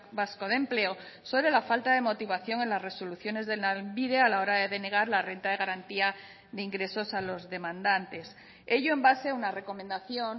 vasco de empleo sobre la falta de motivación en las resoluciones de lanbide a la hora de denegar la renta de garantía de ingresos a los demandantes ello en base a una recomendación